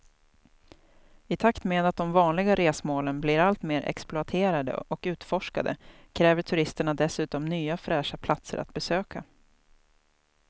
I takt med att de vanliga resmålen blir allt mer exploaterade och utforskade kräver turisterna dessutom nya fräscha platser att besöka.